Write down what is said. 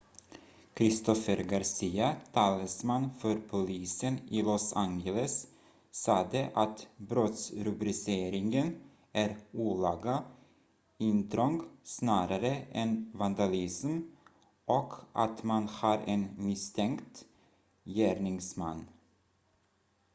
christopher garcia talesman för polisen i los angeles sade att brottsrubriceringen är olaga intrång snarare än vandalism och att man har en misstänkt gärningsman